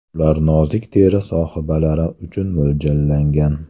Ular nozik teri sohibalari uchun mo‘ljallangan.